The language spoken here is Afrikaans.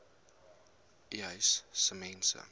uys sê mense